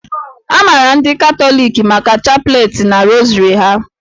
A maara ndị Katọliki maka chapleti na rosary ha